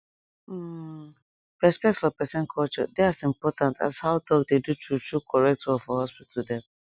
hmmm respect for peson culture dey as important as how doc dey do true true correct work for hospital dem